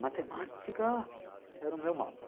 Matemática era o meu mal.